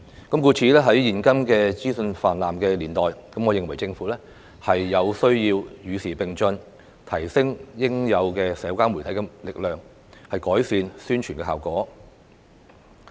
故此，在現今資訊泛濫的年代，我認為政府有需要與時並進，提升應用社交媒體的能力，改善宣傳效果。